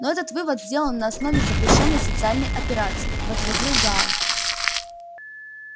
но этот вывод сделан на основе запрещённой социальной операции возразил гаал